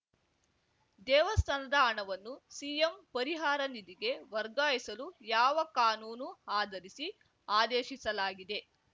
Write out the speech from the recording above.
ದೇವಸ್ಥಾನದ ಹಣವನ್ನು ಸಿಎಂ ಪರಿಹಾರ ನಿಧಿಗೆ ವಗಾರ್ಯಿಸಲು ಯಾವ ಕಾನೂನು ಆಧರಿಸಿ ಆದೇಶಿಸಲಾಗಿದೆ